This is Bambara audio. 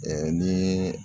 niiii